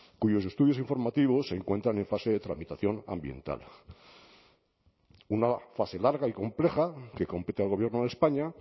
cuyos estudios informativos se encuentran en fase de tramitación ambiental una fase larga y compleja que compete al gobierno de españa